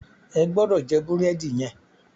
Ẹ gbọ́dọ̀ jẹ búrẹ́dì yẹn!